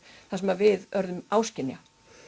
það sem við urðum áskynja